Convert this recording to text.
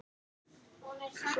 Hvert er planið eftir menntó?